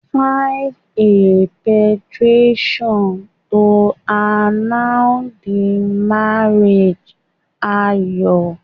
File a petition to annul the marriage, Ayo.